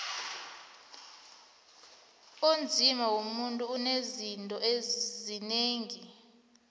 umzima womuntu unezitho zinengi